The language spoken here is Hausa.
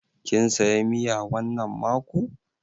Kin saya miya wannan mako?